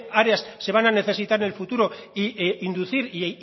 áreas se van a necesitar en el futuro e inducir e